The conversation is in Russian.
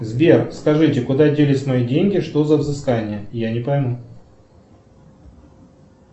сбер скажите куда делись мои деньги что за взыскание я не пойму